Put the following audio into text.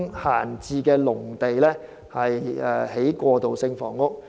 閒置農地，用作興建過渡性房屋"。